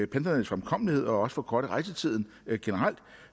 pendlernes fremkommelighed og også forkorte rejsetiden generelt